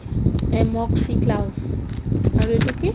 আৰু এইটো কি ?